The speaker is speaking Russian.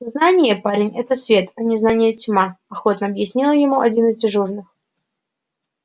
знание парень это свет а незнание тьма охотно объяснил ему один из дежурных